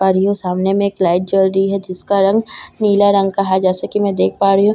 पारी ओ सामने में एक लाइट जल रही है जिसका रंग नीला रंग का है जैसे की मैं देख पा रही हूँ --